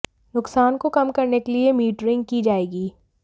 नुकसान को कम करने के लिए मीटरिंग की जाएगी